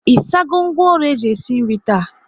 Ị sago ngwaọrụ eji esi nri taa?